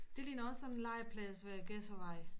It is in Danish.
Det ligner også sådan en legeplads ved Gedservej